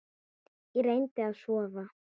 Ég reyndi að sofa.